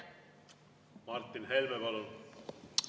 Martin Helme, palun!